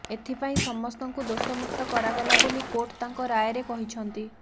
ଏଥିପାଇଁ ସମସ୍ତଙ୍କୁ ଦୋଷମୁକ୍ତ କରାଗଲା ବୋଲି କୋର୍ଟ ତାଙ୍କ ରାୟରେ କହିଛନ୍ତି